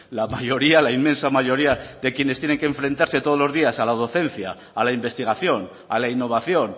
la mayoría la inmensa mayoría de quienes tienen que enfrentarse todos los días a la docencia a la investigación a la innovación